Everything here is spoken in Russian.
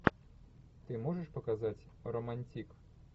ты можешь показать романтик